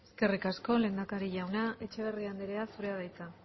eskerrik asko lehendakari jauna etxeberria andrea zurea da hitza